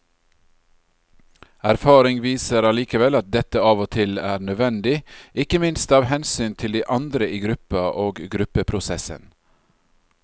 Erfaring viser allikevel at dette av og til er nødvendig, ikke minst av hensyn til de andre i gruppa og gruppeprosessen.